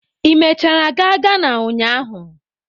Ị mechara gaa Ghana ụnyahụ?